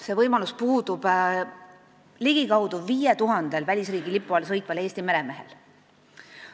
See võimalus puudub ligikaudu 5000-l välisriigi lipu all sõitval Eesti meremehel.